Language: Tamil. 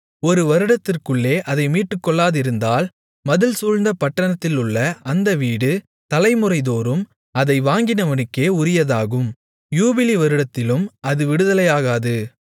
ஒரு வருடத்திற்குள்ளே அதை மீட்டுக்கொள்ளாதிருந்தால் மதில்சூழ்ந்த பட்டணத்திலுள்ள அந்த வீடு தலைமுறைதோறும் அதை வாங்கினவனுக்கே உரியதாகும் யூபிலி வருடத்திலும் அது விடுதலையாகாது